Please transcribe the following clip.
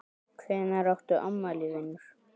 Hvenær áttu afmæli vinur?